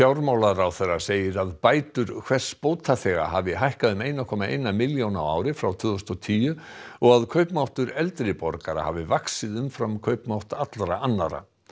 fjármálaráðherra segir að bætur hvers bótaþega hafi hækkað um eitt komma eina milljón á ári frá tvö þúsund og tíu og að kaupmáttur eldri borgara hafi vaxið umfram kaupmátt allra annarra